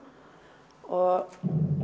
og